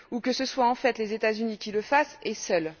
Ou que ce soit, en fait, les États Unis qui le fassent, et seuls?